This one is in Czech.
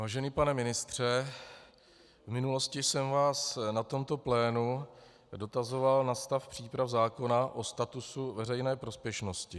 Vážený pane ministře, v minulosti jsem vás na tomto plénu dotazoval na stav příprav zákona o statusu veřejné prospěšnosti.